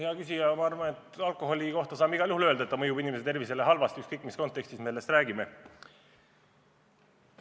Hea küsija, ma arvan, et alkoholi kohta saame igal juhul öelda, et ta mõjub inimese tervisele halvasti, ükskõik mis kontekstis me sellest räägime.